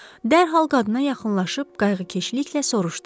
Dərhal qadına yaxınlaşıb qayğıkeşliklə soruşdu: